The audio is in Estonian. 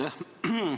Aitäh!